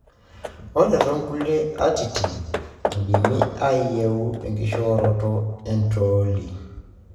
ore tonkulie atitin. indim niyieu enkishoroto entolii.